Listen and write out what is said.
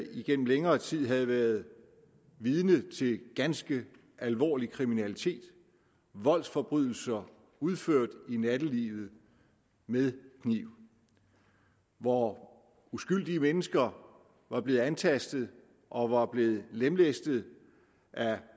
igennem længere tid havde været vidne til ganske alvorlig kriminalitet voldsforbrydelser udført i nattelivet med kniv hvor uskyldige mennesker var blevet antastet og var blevet lemlæstet af